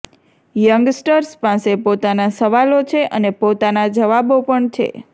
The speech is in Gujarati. યંગસ્ટર્સ પાસે પોતાના સવાલો છે અને પોતાના જવાબો પણ છે